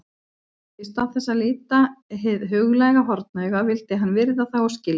Í stað þess að líta hið huglæga hornauga vildi hann virða það og skilja.